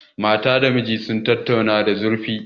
Mata da mijin sun tattauna da zurfi.